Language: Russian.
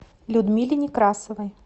людмиле некрасовой